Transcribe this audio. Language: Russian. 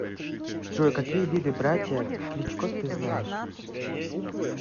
джой какие виды братья кличко ты знаешь